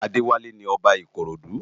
Adewale ni Òbá Ikorodu